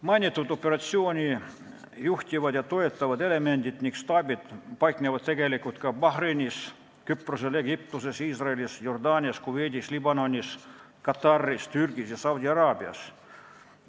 Mainitud operatsiooni juhtivad ja toetavad elemendid ning staabid paiknevad tegelikult ka Bahreinis, Küprosel, Egiptuses, Iisraelis, Jordaanias, Kuveidis, Liibanonis, Kataris, Türgis ja Saudi-Araabias.